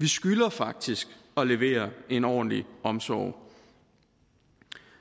vi skylder faktisk at levere en ordentlig omsorg